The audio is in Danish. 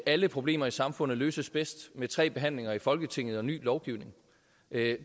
alle problemer i samfundet løses bedst med tre behandlinger i folketinget og en ny lovgivning